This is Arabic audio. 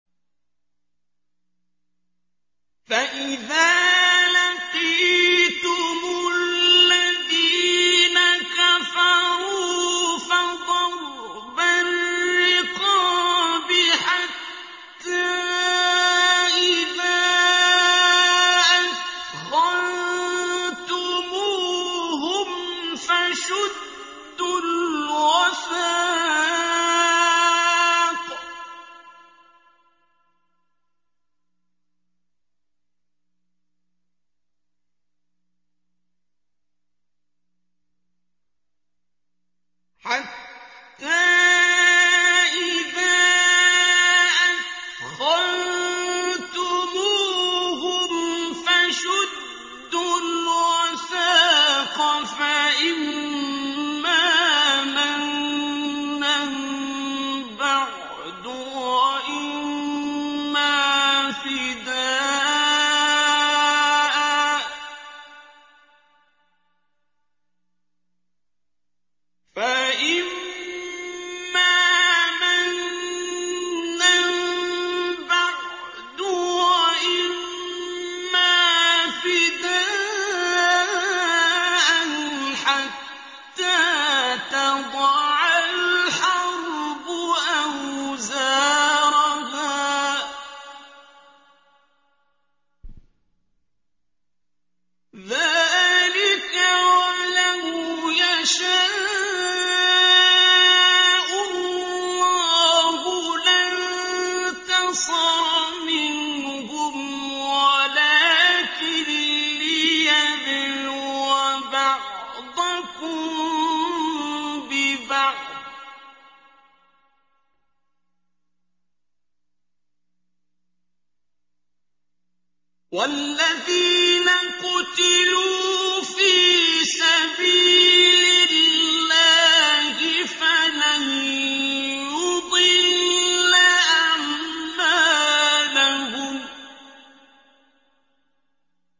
فَإِذَا لَقِيتُمُ الَّذِينَ كَفَرُوا فَضَرْبَ الرِّقَابِ حَتَّىٰ إِذَا أَثْخَنتُمُوهُمْ فَشُدُّوا الْوَثَاقَ فَإِمَّا مَنًّا بَعْدُ وَإِمَّا فِدَاءً حَتَّىٰ تَضَعَ الْحَرْبُ أَوْزَارَهَا ۚ ذَٰلِكَ وَلَوْ يَشَاءُ اللَّهُ لَانتَصَرَ مِنْهُمْ وَلَٰكِن لِّيَبْلُوَ بَعْضَكُم بِبَعْضٍ ۗ وَالَّذِينَ قُتِلُوا فِي سَبِيلِ اللَّهِ فَلَن يُضِلَّ أَعْمَالَهُمْ